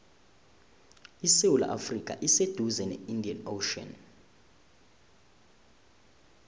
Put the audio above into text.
isewula afrika iseduze ne indian ocean